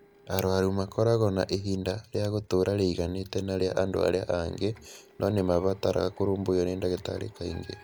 Arũaru makoragwo na ihinda rĩa gũtũũra rĩiganaine na rĩa andũ arĩa angĩ no nĩ mabataraga kũrũmbũiyo nĩ ndagĩtarĩ kaingĩ.